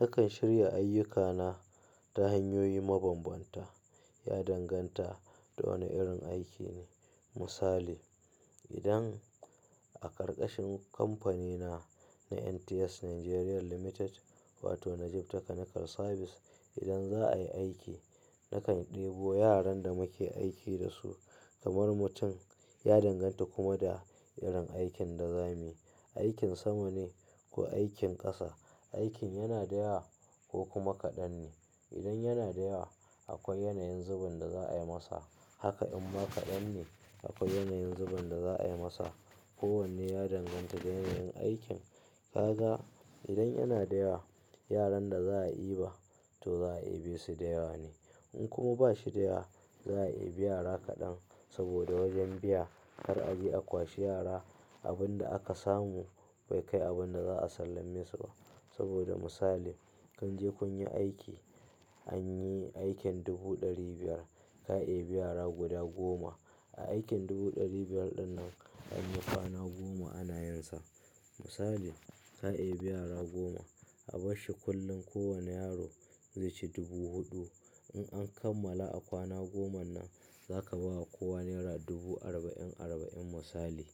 Nakan shirya ayyukana ta hanyoyi mabambanta. Ya danganta da wane irin aiki ne. Misali, idan a karkashin kamfanina na NTS Nigeria Limited wato Najib Technical Service idan za a yi aiki nakan ɗebo yaran da muke aiki dasu kamar mutum. Ya danganta kuma da irin aikin da za mu yi, aikin sama ne ko aikin ƙasa. Aikin yana da yawa ko kuma kaɗan ne. Idan yana da yawa akwai yanayin zubin da za a yi masa. Haka imma kaɗan ne, akwai yanayin zubin da za a yi masa. Ko wanne ya danganta da yanayin aikin. Kaga idan yana da yawa, yaran da za a diba to za a dibesu da yawa ne. In kuma ba shi da yawa za a dibi yara kadan saboda wajen biya kar a je a kwashi yara. Abin da aka samu bai kai abin da za a sallame su ba. Saboda misali, kun je kun yi aiki anyi aikin dubu ɗari biyar ka dibi yara guda goma. A aikin dubu ɗari biyar ɗinnan anyi kwana goma ana yinsa. Misali ka dibi yara goma a barshi kullum kowane yaro zai ci dubu huɗu. In an kammala a kwana goman nan zaka ba kowa naira dubu arba'in arba'in misali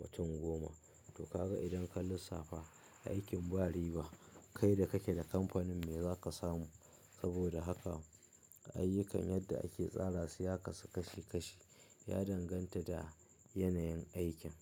watan goma. To kaga idan ka lissafa aikin ba riba. Kai da kake da kamfanin me zaka samu? Saboda haka ayyukan yadda ake tsara su ya kasu kashi-kashi ya danganta da yanayin aikin.